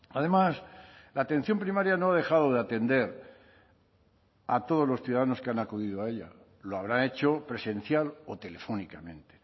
además la atención primaria no ha dejado de atender a todos los ciudadanos que han acudido a ella lo habrá hecho presencial o telefónicamente